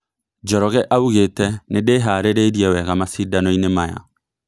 Njoroge augete "Nĩndĩharĩrĩirie wega macidanoine maya"